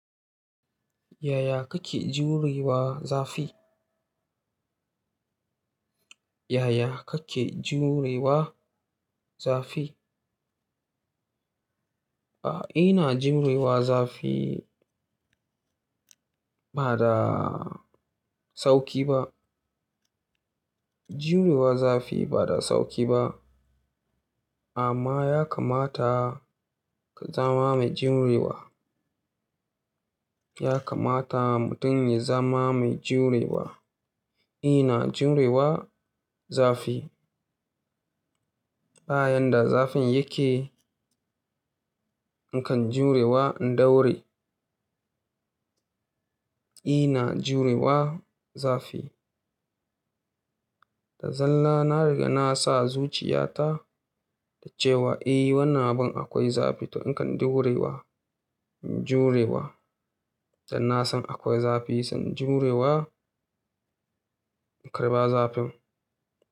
Yaya kake jurewa zafi? Yaya kake jurewa zafi? A'a, ina jurewa zafi ba da sauƙi ba. Jurewa zafi ba da sauƙi ba amma ya kamata ka zama mai jurewa. Ya kamata mutum ya zama mai jurewa. Ina jurewa zafi ta yanda zafin yake, nakan jurewa in daure. Ina jurewa zafi ta zalla na riga na sa zuciyata da cewa eh wannan abin akwai zafi to in kan daurewa, in jurewa. Dan na san akwai zafi sai in jurewa, in karɓa zafin.